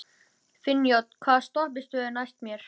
Finnjón, hvaða stoppistöð er næst mér?